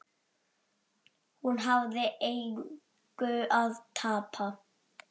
Hún hafði engu að tapa.